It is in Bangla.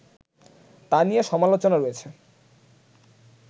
তা নিয়ে সমালোচনা রয়েছে